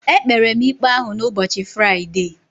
E kpere m ikpe ahụ n'ubochi Friday.